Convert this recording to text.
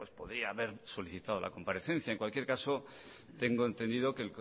pues podría haber solicitado la comparecencia en cualquier caso tengo entendido que